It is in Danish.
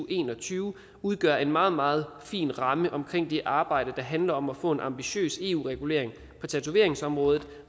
en og tyve udgør en meget meget fin ramme omkring det arbejde der handler om at få en ambitiøs eu regulering på tatoveringsområdet